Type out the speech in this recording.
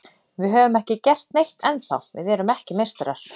Við höfum ekki gert neitt ennþá, við erum ekki meistarar.